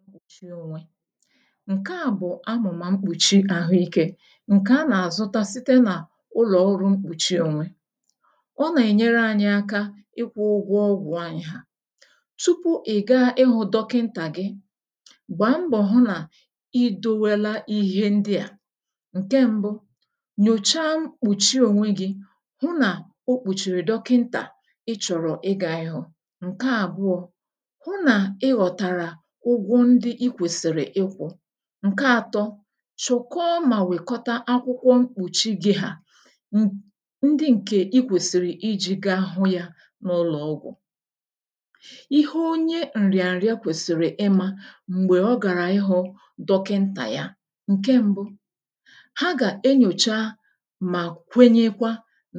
mkpùchi ōnwē, ǹke à bụ̀ amụ̀mà mkpùchi àhụ ikē ǹkè a nà-àzụta site n’ụlọ̀ ọrụ mkpùchi ōnwē ọ nà-ènyere ānyị̄ ākā ịkwụ̄ ụ̄gwọ̄ ọgụ̀ anyị̀ hà tupu ị̀ gaa ịhụ̄ dọkịntà gị gbàa mbọ̀ hụ nà ị dōwēlā ihe ndị à nke m̄bụ̄ nyòcha mkpùchi ònwé gị̄ hụ nà o kpùchìrì dọkịntà ị chọ̀rọ̀ igā ị̄hụ̀ ǹke àbụọ̄ hụ nà ị ghọ̀tàrà ụgwọ ndị ị kwèsị̀rị̀ ịkwụ̄ ǹke ātọ̄ chị̀kọ mà nwèkọta akwụkwọ mkpùchi gī hà ndị ǹkè i kwèsị̀rị̀ ijī gā hụ yā n’ụlọ̀ ọgụ̀ ihe onye ǹrịàǹrịa kwèsị̀rị̀ ịmā m̀gbè ọ gàrà ịhụ̄ dọkịntà ya ǹke m̄bụ̄ ha gà-enyòcha mà kwenyekwa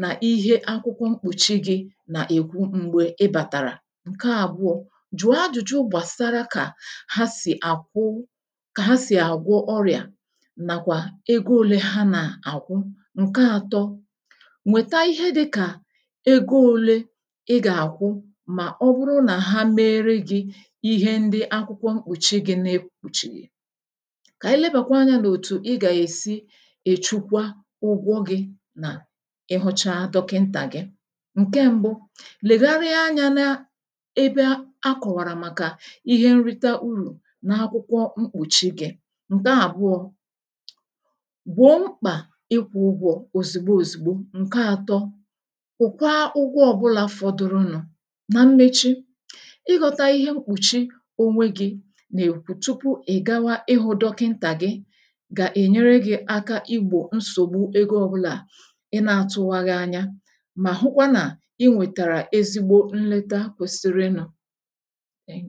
nà ihe akwụkwọ mkpùchi gị̄ nà-èkwu m̀gbè ị bàtàrà ǹke àbụọ̄ jụ̀ọ ajụ̀jụ gbàsara kà ha sì àkwụ kà ha sì àgwọ ọrịà màkwà ego ōlē ha nà-àkwụ ǹke ātọ̄ nwèta ihe dị̄ka ego ōlē ị gà-àkwụ mà ọ bụrụ nà ha mere gị̄ ihe ndị akwụkwọ mkpùchi gī na-ekpūchìghì kà ànyị lebàkwa anyā n'òtù ị gà-èsi èchukwa ụgwọ gị̄ nà ị hụcha dọkịntà gị ǹke m̄bụ̄ lèghari anyā n’ebe ha kọ̀wàrà màkà ihe nrita urù n’akwụkwọ mkpùchi gī à ǹke àbụọ̄ gbụ̀ọ mkpà ịkwụ̄ ụgwọ̄ òzìgbo òzìgbo ǹke ātọ̄ kwụ̀kwa ụgwọ ọ̄bụ̄là fọdụrụ nụ̄ na mmechi ị ghọ̄tā ihe mkpùchi onwe gị̄ nà èkwu tupu ị̀ gawa ịhụ̄ dọkịntà gị gà-ènyere gị̄ ākā igbò nsògbu ego ọbụlà ị nā-atụ̄wàghị̀ ànyà mà hụkwa nà ị nwètàrà esigbo nleta kwēsị̄rị̄nụ